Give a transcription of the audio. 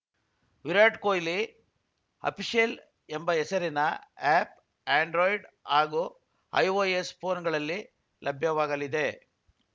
Virat Kohli official ಎಂಬ ಹೆಸರಿನ app Android ಹಾಗೂ ಐಓಎಸ್‌ ಫೋನ್‌ಗಳಲ್ಲಿ ಲಭ್ಯವಾಗಲಿದೆ